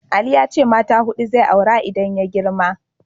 Ali ya ce mata huɗu zai aura idan ya girma.